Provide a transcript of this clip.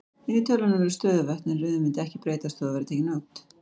Inni í tölunum eru stöðuvötn, en röðin mundi ekki breytast þótt þau væru tekin út.